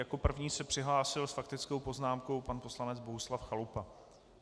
Jako první se přihlásil s faktickou poznámkou pan poslanec Bohuslav Chalupa.